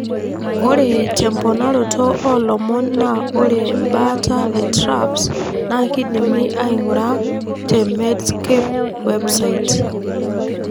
ore temponaroto olomon na ore mbaata e TRAPS na kidimi aingura te Medscape's Web site.